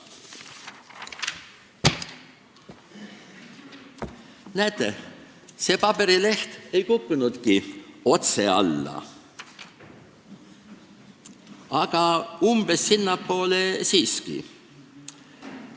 Näete, see paberileht ei kukkunudki otse alla, aga umbes nii siiski.